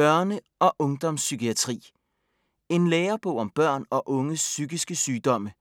Børne- og ungdomspsykiatri En lærebog om børn og unges psykiske sygdomme.